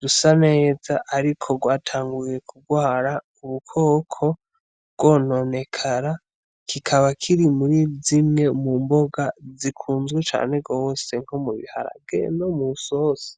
rusa neza ariko rwatanguye kugwara ubukoko rurononekara, kikaba kiri muri zimwe mu mboga zikunzwe cane gose rwo mu biharage no mw'isosi.